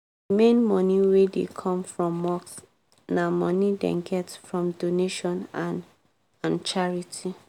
d main money wey dey come from mosque na money dem get from donation and and charity.